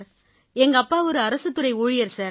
எங்கப்பா ஒரு அரசுத்துறை ஊழியர் சார்